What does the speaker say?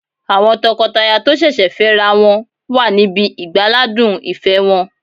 Àwọn tọkọtaya tó sẹ̀sẹ̀ fẹ́ ra wọn wà níbi ìgbáládùn ìfẹ́ wọn